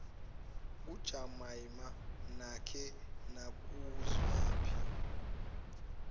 kajumaima nake nakuzwaphi